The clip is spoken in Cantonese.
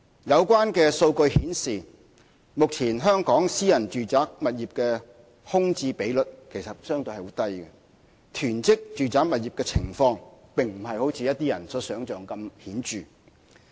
有關數據顯示，目前香港私人住宅物業的空置率其實相對很低，囤積住宅物業的情況並非如一些人所說的嚴重。